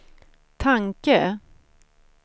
tanke